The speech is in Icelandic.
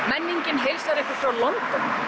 menningin heilsar ykkur frá London